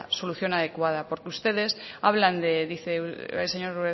solución adecuada porque ustedes hablan dice el señor